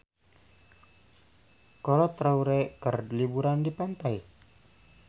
Kolo Taure keur liburan di pantai